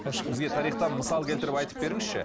бізге тарихтан мысал келтіріп айтып беріңізші